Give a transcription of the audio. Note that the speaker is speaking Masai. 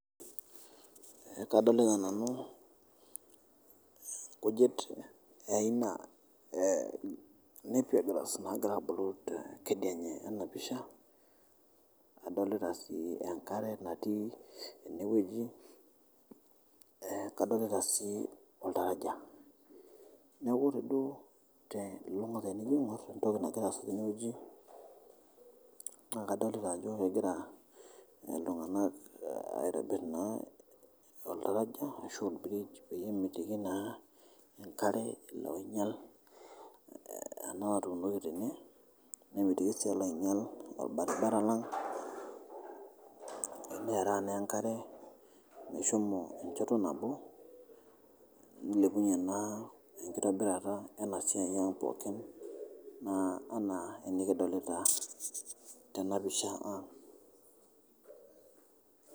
Kadolita nanu nkujit eaina e napier grass naagira aabulu te kideinye e ana pisha, adolita ii enkare natii ene weji, kadolita sii oltaraja, naaku ore duo te ntoki nagira asuuju tene weji naa kadolita ajo egira ltungana aitibir oltaraja bridge ashu peye emitiki naa enkare elo ainyal ena otuunoki tene nemitiki sii olbarbara lang' nearaa naa enkare meshomo enchoto nabo, neilepunye naa enkitobirata ena siai aang' pookin enaa nikidolita tena pisha aang' .